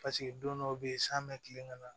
Paseke don dɔw bɛ yen san bɛ tilen ka na